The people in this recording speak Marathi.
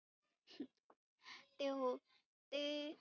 ते हो ते